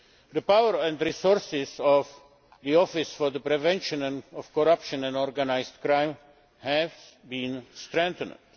The powers and resources of the Office for the Prevention of Corruption and Organised Crime have been strengthened.